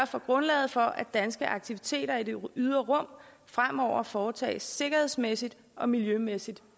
for grundlaget for at danske aktiviteter i det ydre rum fremover foretages sikkerhedsmæssigt og miljømæssigt